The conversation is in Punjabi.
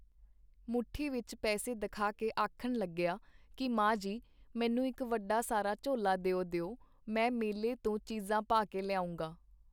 ਮੁੱਠੀ ਵਿੱਚ ਪੈਸੇ ਦਿਖਾ ਕੇ ਆਖਣ ਲੱਗਿਆ ਕੀ ਮਾਂ ਜੀ ਮੈਨੂੰ ਇੱਕ ਵੱਡਾ ਸਾਰਾ ਝੋਲਾ ਦਿਓ ਦਿਓ, ਮੈਂ ਮੇਲੇ ਤੋਂ ਚੀਜ਼ਾਂ ਪਾ ਕੇ ਲਿਆਊਂਗਾ.